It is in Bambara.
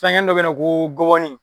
Fɛngɛ nin dɔ bɛ yen ko ngɔbɔnin